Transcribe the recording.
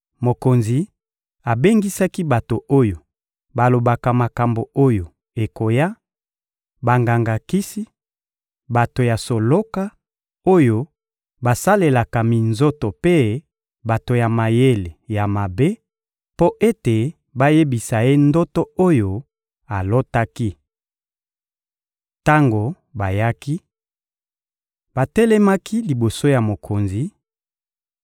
Mokonzi abengisaki bato oyo balobaka makambo oyo ekoya, banganga-kisi, bato ya soloka, oyo basalelaka minzoto mpe bato ya mayele ya mabe mpo ete bayebisa ye ndoto oyo alotaki. Tango bayaki, batelemaki liboso ya mokonzi;